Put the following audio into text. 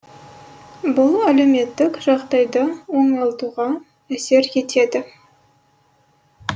бұл әлеуметтік жағдайды оңалтуға әсер етеді